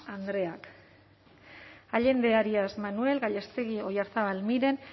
jaun andreak allende arias manuel gallástegui oyarzábal miren